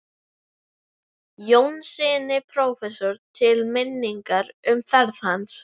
Jónssyni prófessor til minningar um ferð hans.